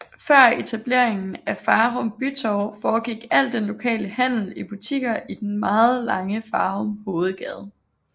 Før etableringen af Farum Bytorv foregik al den lokale handel i butikker i den meget lange Farum Hovedgade